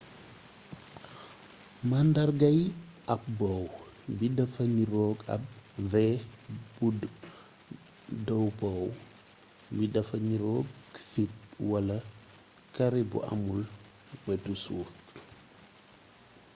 màandargay up bow bi dafa niroog ab v bu” dow bow” bi dafa niroog fit walaa kaare bu amul wetu suuf